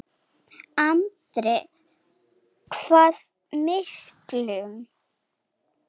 Andri: Hvað miklum?